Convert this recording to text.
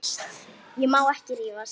Ég má ekki rífast.